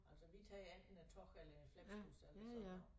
Altså vi tager jo enten æ tog eller æ Flixbus eller sådan noget